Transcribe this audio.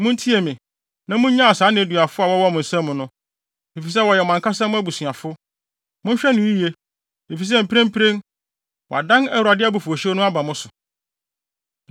Muntie me, na munnyaa saa nneduafo a wɔwɔ mo nsam no, efisɛ wɔyɛ mo ankasa mo abusuafo. Monhwɛ no yiye, efisɛ mprempren, wɔadan Awurade abufuwhyew no aba mo so!”